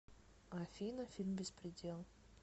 афина фильм беспредел